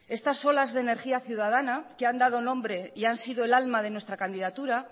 estas olas de energía ciudadana que han dado nombre y han sido el alma de nuestra candidatura